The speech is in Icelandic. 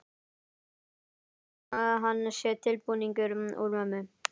Finnst einsog hann sé tilbúningur úr mömmu.